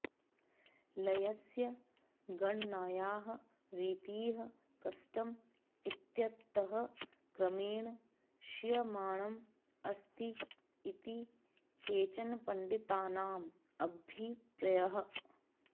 लयस्य गणनायाः रीतिः कष्टम् इत्यतः क्रमेण क्षीयमाणम् अस्ति इति केचनपण्डितानाम् अभिप्रयः